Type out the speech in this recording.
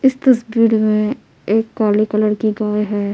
इस तस्वीर में एक काली कलर की गाय है।